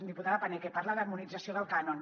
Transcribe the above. diputada paneque parla d’harmonització del cànon